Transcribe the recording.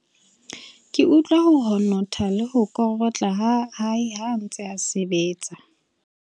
ke utlwa ho honotha le ho korotla ha hae ha a ntse a sebetsa